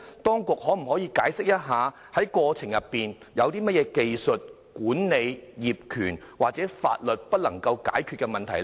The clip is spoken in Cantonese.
當局可否解釋在過程中有甚麼在技術、管理、業權或法律上不能解決的問題？